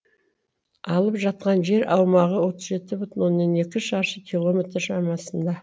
алып жатқан жер аумағы отыз жеті бүтін оннан екі шаршы километр шамасында